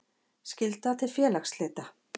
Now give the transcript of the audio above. Skylda til félagsslita.